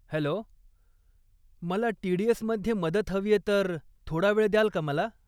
Hello, मला टी.डी.एस.मध्ये मदत हवीये तर थोडा वेळ द्याल का मला?